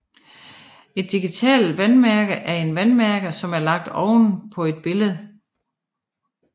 Et digitalt vandmærke er en vandmærke som er lagt oven på et billede